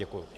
Děkuji.